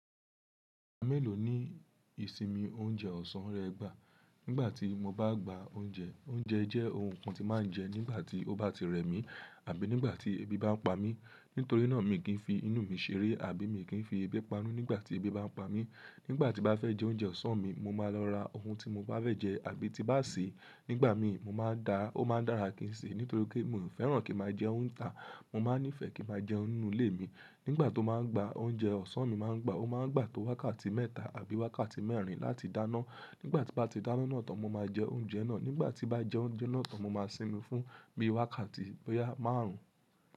Mélòó ní ìsinmi oúnjẹ ọ̀sán rẹ gbà? Nígbà tí mo bá gba oúnjẹ, oúnjẹ jẹ́ ohun kan tí màá jẹ nígbà tí ó bá ti rẹ̀ mí, àbí nígbà tí ebi bá pa mí. Nítorí náà, mi kì í fi inú mi ṣeré, àbí mi kì í fi ẹbí panú nígbà tí ebi bá ń pa mí. Nígbà tí bá fẹ́ jẹ oúnjẹ ọ̀sán mi, mo máa lọ ra ohun tí mo bá fẹ́ jẹ, àbí tí bá ṣe nígbà mi, mo máa dá, ó máa ń dára kí n ṣe, nítorí pé mi ò fẹ́ràn kí máa jẹun tà. Mo máa ń nífẹ̀ẹ́ kí máa jẹun nínú ilé mi. Nígbà tó máa ń gba oúnjẹ ọ̀sán mi, mo máa ń gbà ó máa ń gbà tó wákàtí mẹ́ta àbí wákàtí mẹ́rin láti dáná. Nígbà tí bá ti dáná náà tán, mo máa jẹ oúnjẹ náà. Nígbà tí bá jẹ oúnjẹ náà tán, mo máa sinmi fún bí i wákàtí báyá márùn-ún.